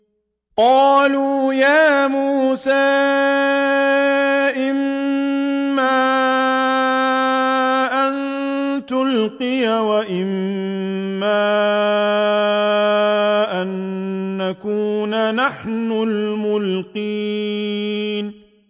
قَالُوا يَا مُوسَىٰ إِمَّا أَن تُلْقِيَ وَإِمَّا أَن نَّكُونَ نَحْنُ الْمُلْقِينَ